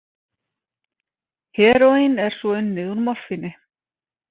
Heróín er svo unnið úr morfíni.